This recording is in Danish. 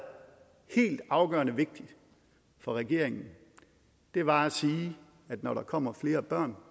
helt afgørende vigtigt for regeringen var at sige at når der kommer flere børn